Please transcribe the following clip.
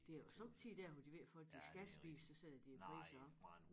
Det jo somme tider dér hvor de ved at folk de skal spise så sætter de æ priser op